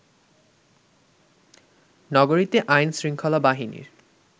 নগরীতে আইনশৃঙ্খলা বাহিনীর